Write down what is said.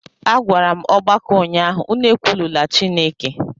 Agwara m ọgbakọ ụnyahụ, unu ekwulula Chineke!